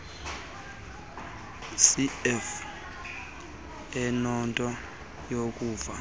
cfl enento yokuva